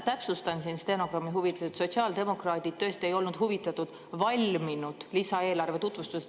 Täpsustan stenogrammi huvides, et sotsiaaldemokraadid tõesti ei olnud huvitatud valminud lisaeelarve tutvustusest.